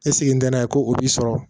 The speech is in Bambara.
E sigi ntɛnɛn ko o b'i sɔrɔ